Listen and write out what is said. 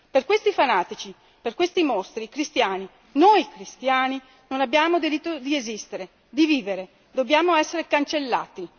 Per questi fanatici, per questi mostri, i cristiani, noi cristiani non abbiamo diritto di esistere, di vivere, dobbiamo essere cancellati.